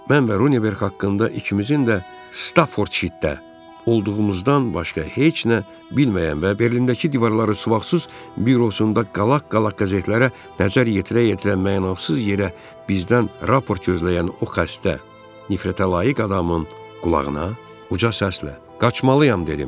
Mən və Runeverx haqqında ikimizin də Staffordshirdə olduğumuzdan başqa heç nə bilməyən və Berlindəki divarları suvaqsız bürosunda qalaq-qalaq qəzetlərə nəzər yetirə-yetirə mənasız yerə bizdən raport gözləyən o xəstə, nifrətə layiq adamın qulağına uca səslə: “Qaçmalıyım” dedim.